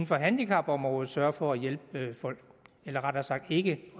for handicapområdet sørger for at hjælpe folk eller rettere sagt ikke